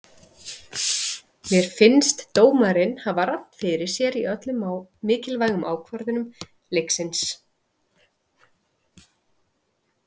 Mér fannst dómarinn hafa rangt fyrir sér í öllum mikilvægu ákvörðunum leiksins.